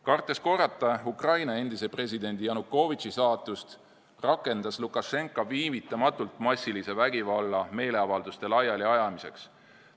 Kartes korrata Ukraina endise presidendi Janukovitši saatust, rakendas Lukašenka viivitamatult massilise vägivalla meeleavalduste laialiajamiseks.